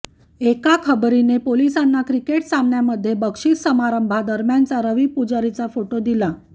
एका खबरीने पोलिसांना क्रिकेट सामन्यामध्ये बक्षीस समारंभादरम्यानचा रवी पुजारीचा फोटो दिला